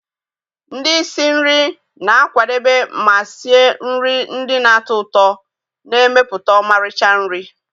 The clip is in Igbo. Ndị isi nri na-akwadebe ma sie nri ndị na-atọ ụtọ, na-emepụta ọmarịcha nri.